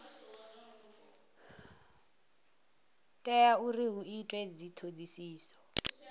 tea uri hu itwe dzithodisiso